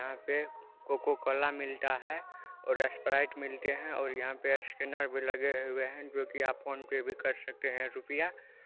यहां पे कोकोकोला मिलता है और स्प्राइट मिलते है और यहां पे स्कैनर भी लगे हुए है जो कि आप फोन पे भी कर सकते है रुपिया ---